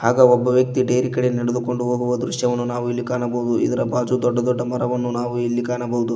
ಹಾಗ ಒಬ್ಬ ವ್ಯಕ್ತಿ ಡೇರಿ ಕಡೆ ನಡೆದುಕೊಂಡು ಹೋಗುವ ದೃಶ್ಯವನ್ನು ನಾವು ಇಲ್ಲಿ ಕಾಣಬಹುದು ಇದರ ಭಾಜು ದೊಡ್ಡ ದೊಡ್ಡ ಮರವನ್ನು ನಾವು ಇಲ್ಲಿ ಕಾಣಬಹುದು.